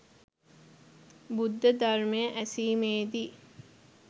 බුද්ධ ධර්මය ඇසීමේදී